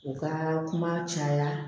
U ka kuma caya